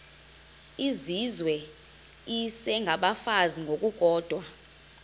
izizwe isengabafazi ngokukodwa